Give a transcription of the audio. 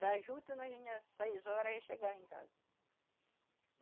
Da juta nós vinha às seis horas e chegava em casa.